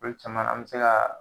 Olu caman ,an be se ka